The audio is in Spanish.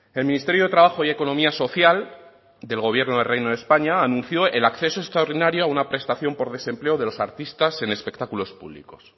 el ministerio de trabajo y economía social del gobierno del reino de españa anunció el acceso extraordinario a una prestación por desempleo de los artistas en espectáculos públicos